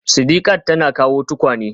Sidiqat tana kawo tukwane